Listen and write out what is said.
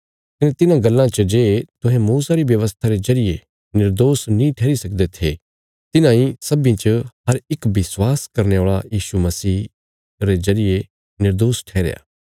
कने तिन्हां गल्लां च जे तुहें मूसा री व्यवस्था रे जरिये निर्दोष नीं ठैहरी सकदे थे तिन्हांई सब्बीं च हर इक विश्वास करने औल़ा यीशु मसीह जरिये निर्दोष ठैहरया